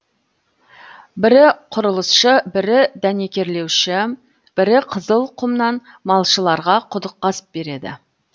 бірі құрылысшы бірі дәнекерлеуші бірі қызыл құмнан малшыларға құдық қазып береді